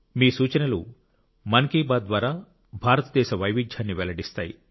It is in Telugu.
మీ సూచనలు మన్ కీ బాత్ ద్వారా భారతదేశ వైవిధ్యాన్ని వెల్లడిస్తాయి